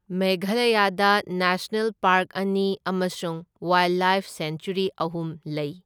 ꯃꯦꯘꯥꯂꯌꯥꯗ national park ꯑꯅꯤ ꯑꯃꯁꯨꯡ ꯋꯥꯏꯜꯗꯂꯥꯏꯐ ꯁꯦꯡꯆ꯭ꯋꯦꯔꯤ ꯑꯍꯨꯝ ꯂꯩ꯫